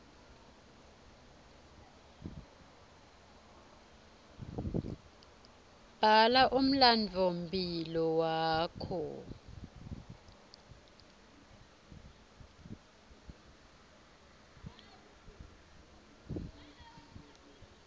bhala umlandvomphilo wakho